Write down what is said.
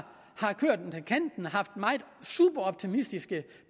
haft superoptimistiske